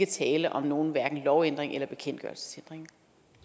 tale om nogen lovændring eller bekendtgørelsesændring